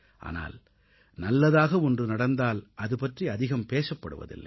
ஆனால் நல்லதாக ஒன்று நடந்தால் அதுபற்றி அதிகம் பேசப்படுவதில்லை